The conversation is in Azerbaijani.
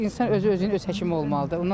İnsan özü-özünün öz həkimi olmalıdır.